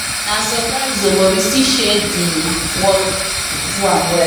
na surprise o but we still share the work work do am well